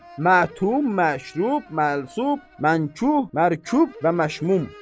Mətum, məşrub, məlsub, mənkuh, mərkub və məşmum.